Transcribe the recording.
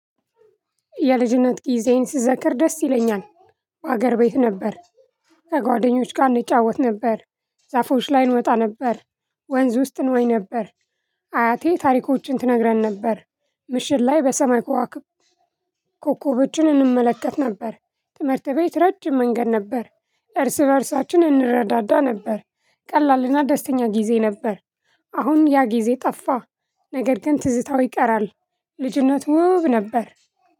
የልጅነት ጊዜዬን ስዘክር ደስ ይለኛል። ሀገር ቤት ነበር። ከጓደኞቼ ጋር እንጫወት ነበር። ዛፎች ላይ እንወጣ ነበር። ወንዝ ውስጥ እንዋኝ ነበር። አያቴ ታሪኮችን ትነግረን ነበር። ምሽት ላይ በሰማይ ኮኮቦችን እንመለከት ነበር። ትምህርት ቤት ረጅም መንገድ ነበር። እርስ በእርሳችን እንረዳዳ ነበር። ቀላልና ደስተኛ ጊዜ ነበር። አሁን ያ ጊዜ ጠፋ። ነገር ግን ትዝታው ይቀራል። ልጅነት ውብ ነበር።